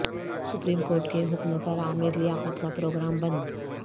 supreme court کے حکم پر عامر لیاقت کا پروگرام بند